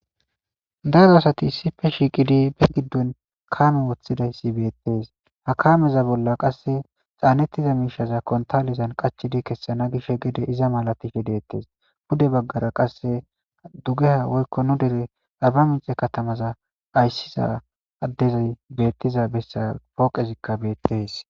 Daro asati issife shiiqidi be giddon kaame woththidayssi beettees hakameza bolla qasse xaannettiza miishaza kontalizan qachidi kessana gish gede iza malatifhi deettees pude baggara qasse dugeha woykko nu dere abba mixe katamaza ayssiza addezi bettiza bessa pooqezikka beettes.